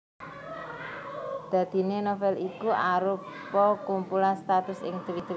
Dadiné novel iku arupa kumpulan statusé ing twitter